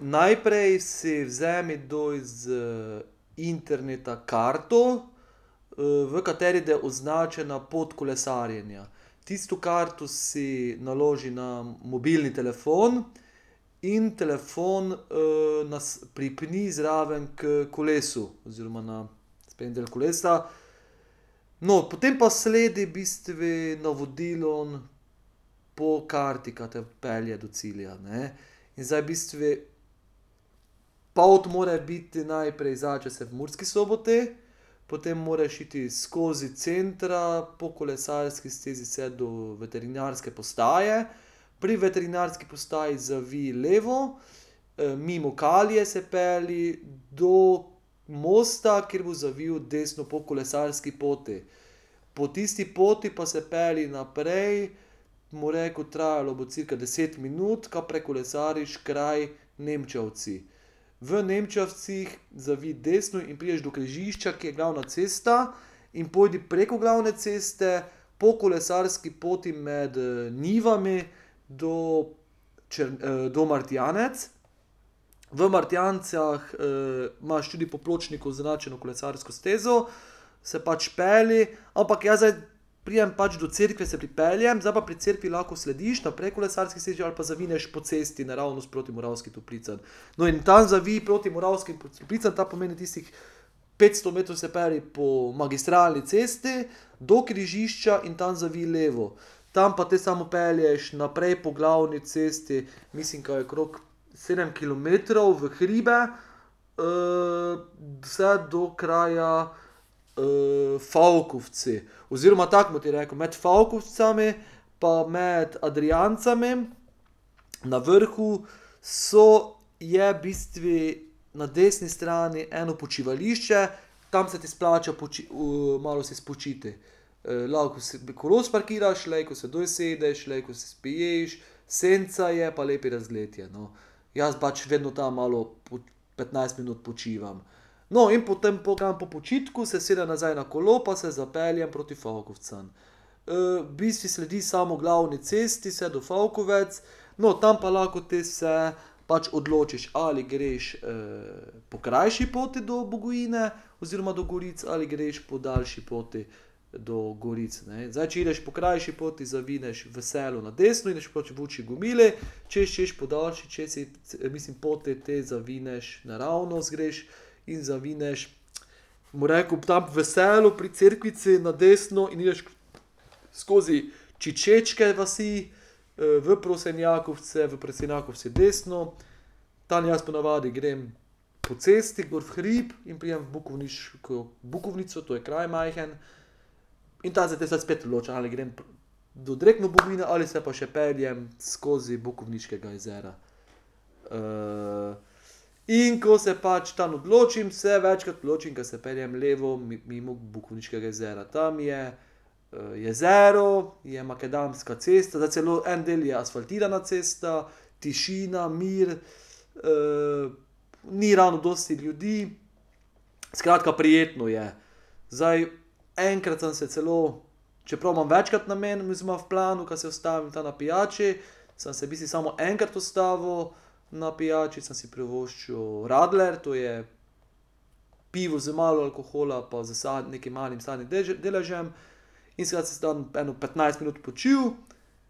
Najprej si vzemi dol z interneta karto, v kateri da označena pot kolesarjenja. Tisto karto si naloži na mobilni telefon in telefon, pripni zraven h kolesu oziroma na sprednji del kolesa. No, potem pa sledi v bistvu navodilom po karti, ka te pelje do cilja, ne. Zdaj v bistvu pot mora biti najprej, začne se v Murski Soboti, potem moraš iti skozi centra po kolesarski stezi vse do Veterinarske postaje, pri Veterinarski postaji zavij levo, mimo Kalie se pelji, do mosta, kjer boš zavil desno po kolesarski poti. Po tisti poti pa se pelji naprej, bom rekel, trajalo bo cirka deset minut, ka prekolesariš kraj Nemčevci. V Nemčevcih zavij desno in prideš do križišča, kjer je glavna cesta, in pojdi preko glavne ceste po kolesarski poti med njivami do do Martjancev. V Martjancih, imaš tudi po pločniku označeno kolesarsko stezo, se pač pelji, ampak jaz zdaj pridem pač do cerkve, se pripeljem, zdaj pa pri cerkvi lahko slediš naprej kolesarski stezi ali pa zavineš po cesti naravnost proti Moravskim Toplicam. No, in tam zavij proti Moravskih Toplicam, tam pomeni, tistih petsto metrov se pelji po magistralni cesti do križišča in tam zavij levo. Tam pa te samo pelješ naprej po glavni cesti, mislim, ka je okrog sedem kilometrov v hribe, vse do kraja Fokovci. Oziroma tako bom ti rekel, med Fokovci pa med Adrijanci na vrhu so, je v bistvu na desni strani eno počivališče, tam se ti splača malo se spočiti. lahko bi si kolo spakiraš, lejko se dol sedeš, lejko se spiješ, senca je pa lep razgled je, no. Jaz pač vedno tam malo petnajst minut počivam. No, in potem po, tam po počitku se usedem nazaj na kolo pa se zapeljem proti Fokovcem. v bistvu sledi samo glavni cesti, vse do Fokovcev, no, tam pa lahko te se pač odločiš, ali greš, po krajši poti do Bogojine oziroma do Goric ali greš po daljši poti do Goric, ne. Zdaj če ideš po krajši poti, zavineš v Selu na desno in greš Gubile, če hočeš po daljši čez iti, se mislim poti, te zavineš, naravnost greš in zavineš, bom rekel, tam v Selu pri cerkvici na desno in ideš skozi Čikečke vasi, v Prosenjakovce, v Prosenjakovcih desno, tam jaz ponavadi grem po cesti gor v hrib in pridem v bukovniško, Bukovnico, to je kraj majhen. In tam za tistim spet odloča, ali grem do direktno Bogojine ali pa se še peljem skozi Bukovniškega jezera. in ko se pač tam odločim, se večkrat odločim, ke se peljem levo mimo Bukovniškega jezera. Tam je jezero, je makadamska cesta, zdaj celo en del je asfaltirana cesta, tišina, mir, ni ravno dosti ljudi, skratka, prijetno je. Zdaj, enkrat sem se celo, čeprav imam večkrat namen, mislim imam v planu, ka se ustavim tam na pijači, samo sem, mislim, samo enkrat ustavil, na pijači sem si privoščil radler, to je pivo z malo alkohola pa s nekaj malim sadnim deležem, in sem se jaz tam petnajst minut počil,